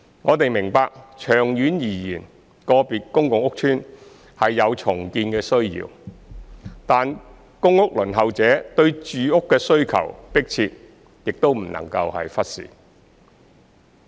我們明白長遠而言，個別公共屋邨是有重建的需要；但公屋輪候者對住屋的需求迫切，亦不容忽視。